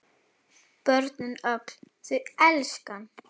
Börnin öll þau elska hann.